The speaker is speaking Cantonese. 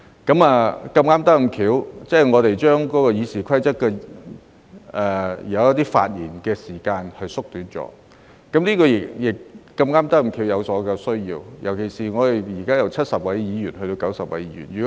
事有湊巧，當我們這次修改《議事規則》將一些發言時間縮短，我們正好有這個需要，尤其我們將由現在的70位議員增至90位議員。